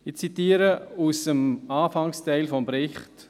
Ich zitiere aus dem Anfangsteil des Berichts: